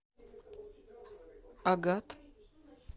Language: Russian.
агат